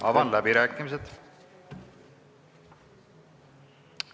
Avan läbirääkimised.